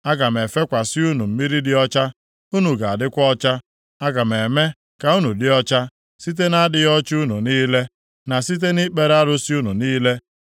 Aga m efekwasị unu mmiri dị ọcha, unu ga-adịkwa ọcha. Aga m eme ka unu dị ọcha + 36:25 Maọbụ, Aga m asachapụ unu site na-adịghị ọcha unu niile, na site nʼikpere arụsị unu niile.